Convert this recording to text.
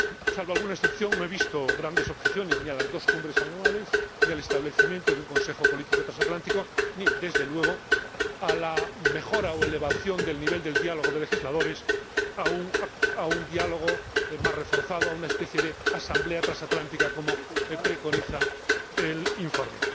Salvo alguna excepción, no he visto grandes objeciones ni a las dos cumbres anuales, ni al establecimiento de un consejo político transatlántico, ni, desde luego, a la mejora o elevación del nivel del diálogo de legisladores a un diálogo más reforzado, a una especie de asamblea transatlántica, como preconiza el informe.